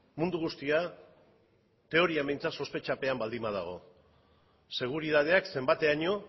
mundu guztia teorian behintzat sospetxapean baldin badago seguritateak zenbateraino